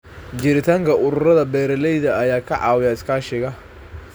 Jiritaanka ururada beeralayda ayaa ka caawiya iskaashiga.